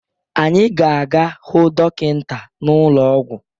Anyị ga-aga hụ dọkịta n'ụlọ ọgwụ